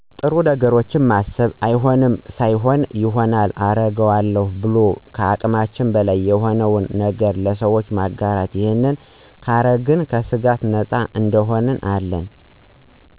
ጥሩ ነገሮችን ማሰብ አይሆንም ሳይሆን ይሆናል አረገው አለው ብሎማሰብ ከአቅማችን በላይ የሆነን ነገረ ለሰወች ማጋራት ይህንን ካረግን ከስጋት ነፂ እንሆን አለን